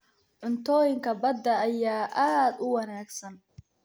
Cuntooyinka badda ayaa aad u wanaagsan.